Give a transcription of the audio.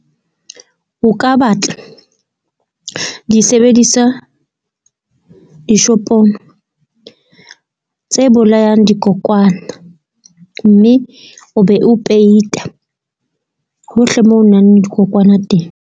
O ka batla disebedisa dishopong tse bolayang dikokwana, mme o be o peita hohle moo ho nang le dikokwana teng.